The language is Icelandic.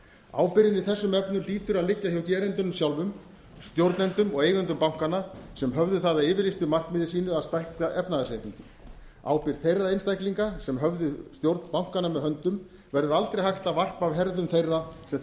ábyrgðin í þessum efnum hlýtur að liggja hjá gerendunum sjálfum stjórnendum og eigendum bankanna sem höfðu það að yfirlýstu markmiði sínu að stækka efnahagsreikninginn ábyrgð þeirra einstaklinga sem höfðu stjórn bankanna með höndum verður aldrei hægt að varpa af herðum þeirra sem